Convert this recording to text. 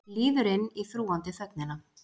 Líður inn í þrúgandi þögnina.